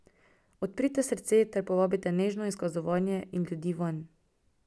Odprite srce ter povabite nežno izkazovanje in ljudi vanj.